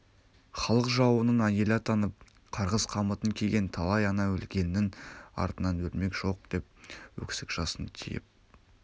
халық жауының әйелі атанып қарғыс қамытын киген талай ана өлгеннің артынан өлмек жоқ деп өксік жасын тиып